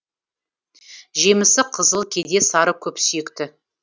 жемісі қызыл кейде сары көпсүйекті